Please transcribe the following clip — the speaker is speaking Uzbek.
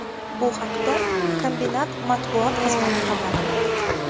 Bu haqda kombinat matbuot xizmati xabar berdi .